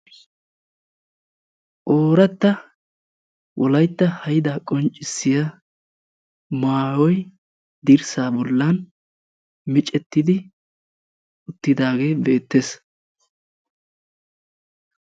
Oorata wolaytta haydda qonccissiyaa maayyoy dirssa bollan miccetidi uttidaage beettees.